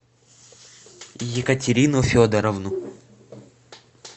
екатерину федоровну